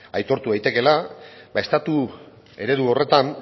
aitortu daitekeela ba estatu eredu horretan